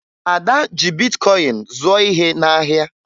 Ada ji bitkọyịn zụọ ihe n'ahịa